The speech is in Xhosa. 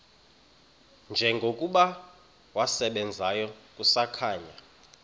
njengokuba wasebenzayo kusakhanya